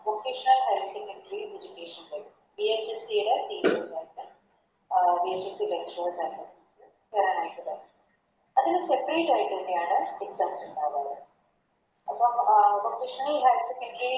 Vocational higher secondary education ൻറെ VHSE ടെ അഹ് VHSE കേറാനായിട്ട് പറ്റും അത് Seperate ആയിട്ട് തന്നെയാണ് Exam ഇണ്ടാവാ അപ്പം അഹ് Vocational higher secondary